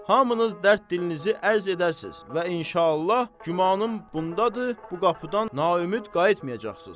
Hamınız dərd dilinizi ərz edərsiz və inşallah gümanım bundadır, bu qapıdan naiümüd qayıtmayacaqsız.